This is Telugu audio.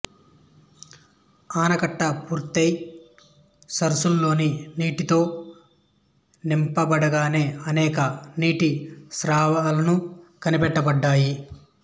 ఆనకట్ట పూర్తి అయి సరసులలోని నీటితో నింపబడగానే అనేక నీటిస్రావాలను కనిపెట్టబడ్డాయి